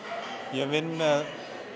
ég vinn með